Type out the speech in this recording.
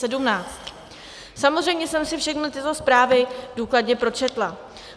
Samozřejmě jsem si všechny tyto zprávy důkladně pročetla.